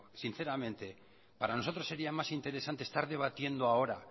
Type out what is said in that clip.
sinceramente para nosotros sería más interesante estar debatiendo ahora